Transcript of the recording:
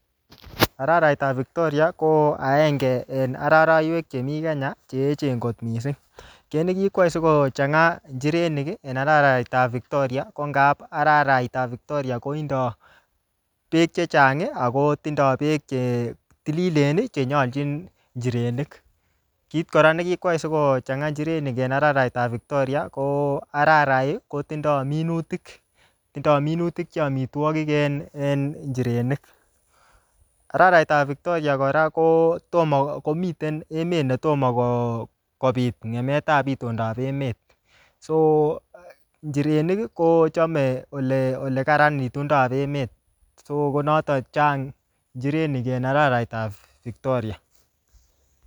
Araraitab Victoria ko aenge en aroroiywek chemi Kenya che eechen kot mising. Kit ne kikwai si kochanga injirenik en araraitaab victoria ko ngab araraitab victoria kotindoi beek che chang ago tindoi beek che tililen che nyolchin injirenik. Kit kora ne kikwai si kochanga injirenik en araraitab Victoria, ko ararai ko tindo minutik. Tindo minutik che amitwogik en injirenik. Araraitab victoria kora ko miten emet netomo kopit ngemetab itondab emet. Soo injirenik ko chome olekararan itondab emet. Sokonoton chang injirenik en araraitab Victoria.